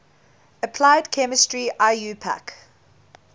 applied chemistry iupac